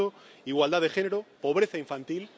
Por tanto, igualdad de género, pobreza infantil...